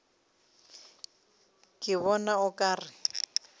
ke bona o ka re